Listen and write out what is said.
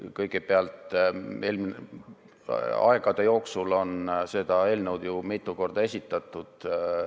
Kõigepealt, aegade jooksul on seda eelnõu ju mitu korda esitatud.